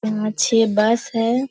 पाँच-छह bus हैं ।